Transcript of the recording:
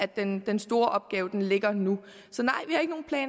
den store opgave ligger nu så